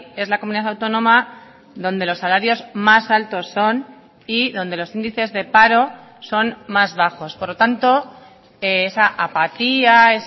es la comunidad autónoma donde los salarios más altos son y donde los índices de paro son más bajos por lo tanto esa apatía